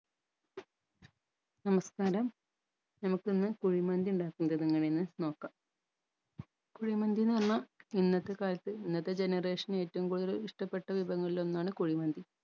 നമസ്കാരം നമക്കിന്ന് കുഴിമന്തി ഇണ്ടാക്കേണ്ടത് എങ്ങനെയെന്ന് നോക്കാം കുഴിമന്തിന്ന് പറഞ്ഞ ഇന്നത്തെ കാലത്ത് ഇന്നത്തെ generation ഏറ്റവും കൂടുതൽ ഇഷ്ട്ടപ്പെട്ട വിഭവങ്ങളിൽ ഒന്നാണ് കുഴിമന്തി